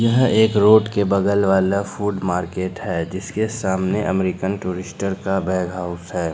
यह एक रोड के बगल वाला फूड मार्केट है जिसके सामने अमेरिकन टूरिस्टर का बैग हाउस है।